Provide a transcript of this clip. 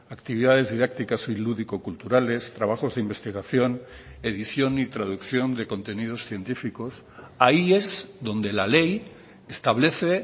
actividades didácticas y lúdico culturales trabajos de investigación edición y traducción de contenidos científicos ahí es donde la ley establece